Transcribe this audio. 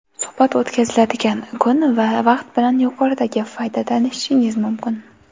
Suhbat o‘tkaziladigan kun va vaqt bilan yuqoridagi fayda tanishishingiz mumkin.